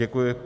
Děkuji.